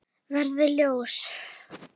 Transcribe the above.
Verði ljós.